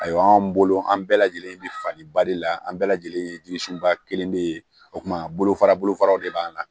Ayiwa anw bolo an bɛɛ lajɛlen bi faliba de la an bɛɛ lajɛlen jigirsun ba kelen de o kuma bolofara bolofaraw de b'an na